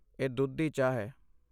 ਇਹ ਦੁੱਧ ਦੀ ਚਾਹ ਹੈ।